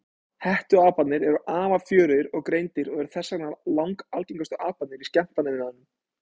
Hettuaparnir eru afar fjörugir og greindir og eru þess vegna langalgengustu aparnir í skemmtanaiðnaðinum.